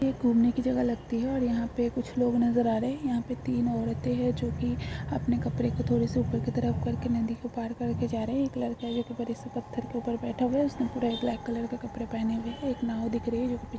एक घूमने की जगह लगती हैऔर यहां पर कुछ लोग नजर आ रहे हैं यहां पर तीन औरतें हैं जो कि अपने कपड़े को थोड़ी से ऊपर की तरफ करके नदी को पार करके जा रहे हैं एक लड़के के कपड़े से पत्थर के ऊपर बैठे हुए हैउसने पूरा ब्लैक कलर के कपड़े पहने हुए हैं जो की एक नाव देख रहे हैं।